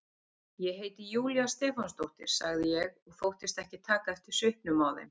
Ég heiti Júlía Stefánsdóttir, sagði ég og þóttist ekki taka eftir svipnum á þeim.